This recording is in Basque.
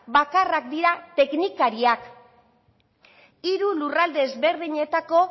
bakarrak dira teknikariak hiru lurralde ezberdinetako